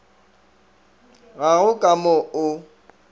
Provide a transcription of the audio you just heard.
ga go ka mo o